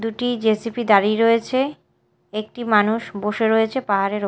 দুটি জে_সি_পি দাঁড়িয়ে রয়েছে একটি মানুষ বসে রয়েছে পাহাড়ের ওপর।